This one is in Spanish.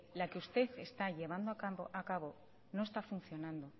la que usted está llevando a cabo no está funcionando